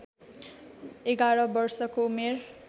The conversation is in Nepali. ११ वर्षको उमेर